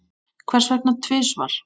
Hvers vegna tvisvar?